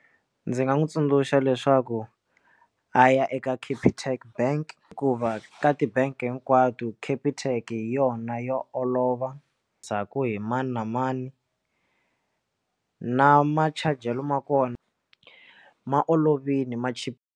Ndzi nga n'wi tsundzuxa leswaku a ya eka capitec bank hikuva ka ti bank hinkwato capitec hi yona yo olova ndzhaku hi mani na mani na machajelo ma kona ma olovile ma chi.